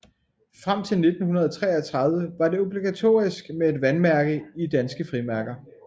Frem til 1933 var det obligatorisk med et vandmærke i danske frimærker